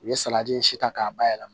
U ye salati si ta k'a bayɛlɛma